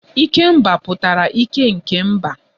Ikemba pụtara ike nke mba